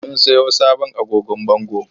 Mun siyo sabon agogon bango.